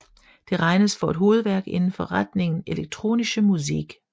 Det regnes for et hovedværk inden for retningen elektronische Musik